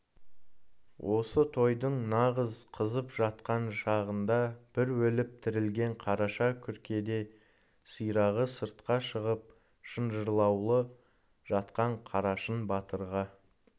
осы тойдың нағыз қызып жатқан шағында бір өліп тірілген қараша күркеде сирағы сыртқа шығып шынжырлаулы жатқан қарашың батырға